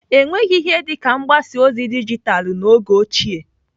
Enweghị ihe dịka mgbasa ozi dijitalû n'oge ochie.